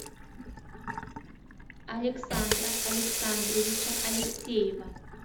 александра александровича алексеева